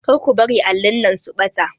Kar ku bari allin nan su ɓata